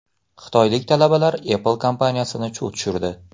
Xitoylik talabalar Apple kompaniyasini chuv tushirdi.